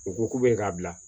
U ko k'u bɛ k'a bila